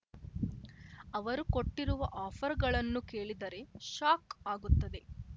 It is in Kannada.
ಅವರು ಕೊಟ್ಟಿರುವ ಆಫರ್‌ಗಳನ್ನು ಕೇಳಿದರೆ ಶಾಕ್‌ ಆಗುತ್ತದೆ